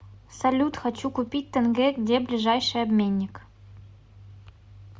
салют хочу купить тенге где ближайший обменник